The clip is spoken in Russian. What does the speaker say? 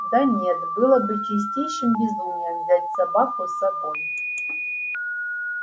да нет было бы чистейшим безумием взять собаку с собой